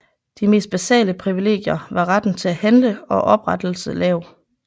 De mest basale privilegier var retten til at handle og oprettelse lav